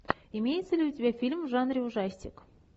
имеется ли у тебя фильм в жанре ужастик